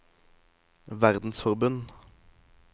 verdensforbund